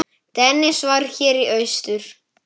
Dennis var hér í austur.